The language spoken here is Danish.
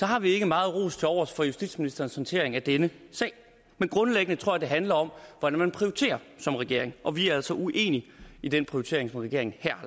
har vi ikke meget ros tilovers for justitsministerens håndtering af denne sag men grundlæggende tror jeg det handler om hvordan man prioriterer som regering og vi er altså uenige i den prioritering som regeringen her